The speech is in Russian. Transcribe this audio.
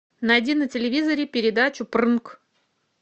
найди на телевизоре передачу прнк